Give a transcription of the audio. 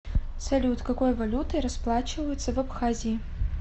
салют какой валютой расплачиваются в абхазии